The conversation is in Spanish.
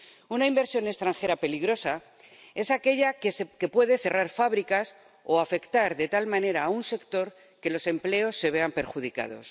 Una inversión extranjera peligrosa es aquella que puede cerrar fábricas o afectar de tal manera a un sector que los empleos se vean perjudicados.